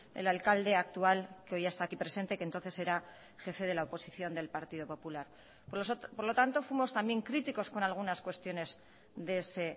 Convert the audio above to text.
el alcalde actual que hoy está aquí presente que entonces era jefe de la oposición del partido popular por lo tanto fuimos también críticos con algunas cuestiones de ese